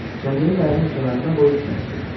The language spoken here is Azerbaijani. Kəndiri qayığın kənarına qoyub kəsdi.